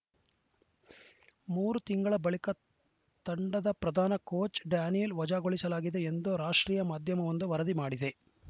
ಮೂರು ತಿಂಗಳ ಬಳಿಕ ತಂಡದ ಪ್ರಧಾನ ಕೋಚ್‌ ಡೇನಿಯಲ್‌ ವಜಾಗೊಳಿಸಲಾಗಿದೆ ಎಂದು ರಾಷ್ಟ್ರೀಯ ಮಾಧ್ಯಮವೊಂದು ವರದಿ ಮಾಡಿದೆ